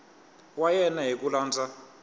wa yena hi ku landza